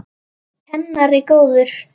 Kennari góður.